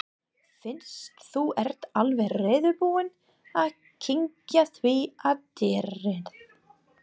Fyrst þú ert alveg reiðubúinn að kyngja því að dýrið